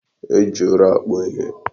E ji ụrọ akpụ ihe.